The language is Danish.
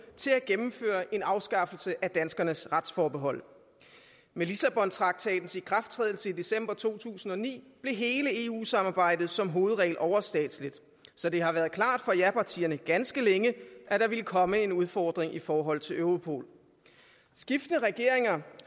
gennemføre en afskaffelse af danskernes retsforbehold med lissabontraktatens ikrafttrædelse i december to tusind og ni blev hele eu samarbejdet som hovedregel overstatsligt så det har været klart for japartierne ganske længe at der ville komme en udfordring i forhold til europol skiftende regeringer